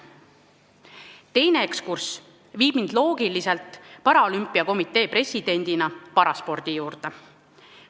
Teine ekskurss viib mind loogiliselt paralümpiakomitee presidendina paraspordi juurde.